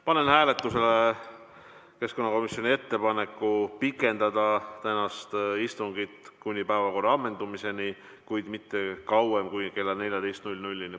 Panen hääletusele keskkonnakomisjoni ettepaneku pikendada tänast istungit kuni päevakorra ammendumiseni, kuid mitte kauem kui kella 14-ni.